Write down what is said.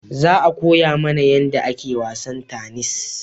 Za a koya mana yanda ake wasan tanis